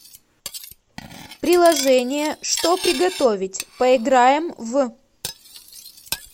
приложение что приготовить поиграем в